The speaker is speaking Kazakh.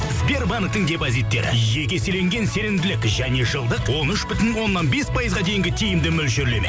сбербанктің депозиттері жеке еселенген сенімділік және жылдық он үш бүтін оннан бес пайызға дейінгі тиімді мөлшерлеме